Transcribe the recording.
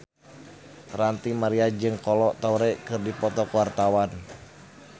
Ranty Maria jeung Kolo Taure keur dipoto ku wartawan